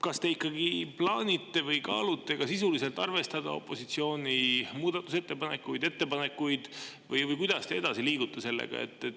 Kas te ikkagi plaanite või kaalute ka sisuliselt arvestada opositsiooni muudatusettepanekuid või kuidas te edasi liigute sellega?